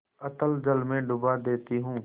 अतल जल में डुबा देती हूँ